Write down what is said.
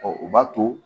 o b'a to